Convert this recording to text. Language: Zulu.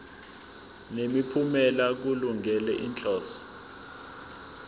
nemiphumela kulungele inhloso